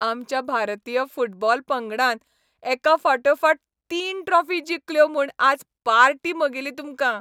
आमच्या भारतीय फुटबॉल पंगडान एकाफाटोफाट तीन ट्रॉफी जिखल्यो म्हूण आज पार्टी म्हगेली तुमकां.